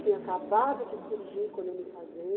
Tinha acabado de surgir quando eu me casei.